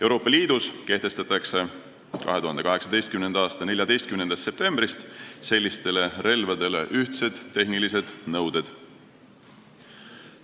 Euroopa Liidus kehtestatakse 2018. aasta 14. septembrist sellistele relvadele ühtsed tehnilised nõuded.